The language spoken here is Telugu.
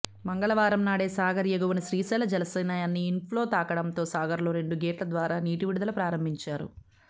మంగళవారం నాడే సాగర్ ఎగువన శ్రీశైల జలాశయానికి ఇన్ఫ్లో తాకడంతో సాగర్లో రెండు గేట్ల ద్వారా నీటి విడుదల ప్రారంభించారు